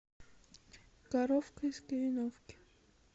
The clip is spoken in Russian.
коровка из кореновки